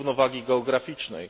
równowagi geograficznej.